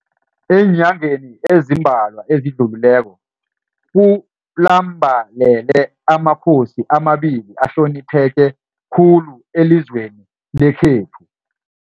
Eenyangeni ezimbalwa ezidlulileko, ku lambalele amakhosi amabili ahlonipheke khulu elizweni lekhethu.